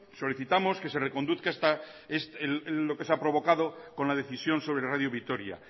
solicitamos que se reconduzca lo que se ha provocado con la decisión sobre radio vitoria